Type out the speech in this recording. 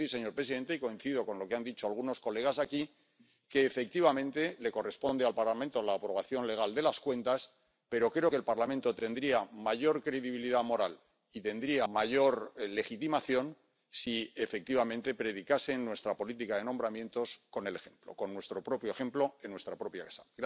Quiero decir, señor presidente —y coincido con lo que han dicho algunos colegas aquí—, que efectivamente corresponde al Parlamento la aprobación legal de las cuentas, pero creo que el Parlamento tendría mayor credibilidad moral y mayor legitimación si, efectivamente, predicase, en nuestra política de nombramientos, con el ejemplo, con nuestro propio ejemplo, en nuestra propia casa.